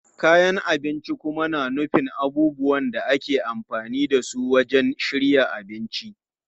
Kayan abinci kuma na nufin abubuwan da ake amfani da su wajen shirya abinci.